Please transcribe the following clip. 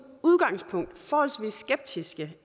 udgangspunkt forholdsvis skeptiske